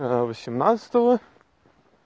восемьнадцатого